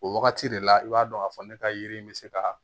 O wagati de la i b'a dɔn k'a fɔ ne ka yiri in bɛ se ka